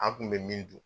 An kun be min dun